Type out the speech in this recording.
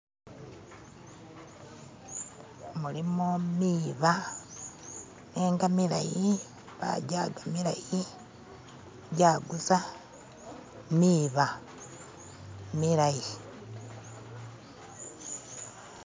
Mulimo miiba nenga milayi bajaga milayi jaguza miiba milayi.